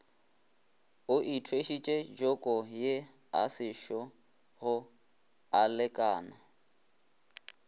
o ithwešitše jokoye asešogo alekana